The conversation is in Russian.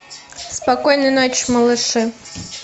спокойной ночи малыши